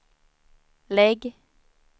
lägg